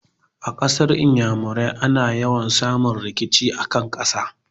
A yankunan Iyamurai ana yawa samun rikici a kan ƙasa.